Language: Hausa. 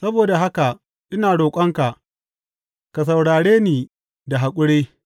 Saboda haka ina roƙonka ka saurare ni da haƙuri.